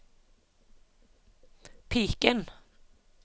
piken